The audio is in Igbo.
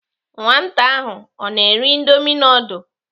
Nwata ahụ ọ ná-eri indomi nudul?